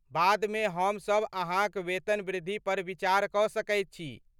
बादमे हम सब अहाँक वेतनवृद्धि पर विचार कऽ सकै छी।